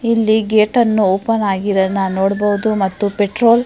ಇಲ್ಲಿ ಗೇಟ್ ಅನ್ನು ಓಪನ್ ಆಗಿರದನ್ನ ನೋಡಬಹುದು ಮತ್ತು ಪೆಟ್ರೋಲ್ --